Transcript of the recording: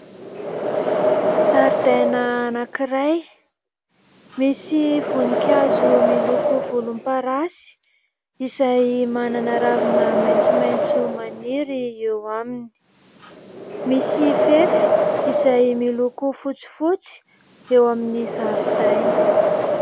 Zaridaina anankiray, misy voninkazo miloko volomparasy izay manana ravina maitsomaitso maniry eo aminy. Misy fefy izay miloko fotsifotsy eo amin'ny zaridaina.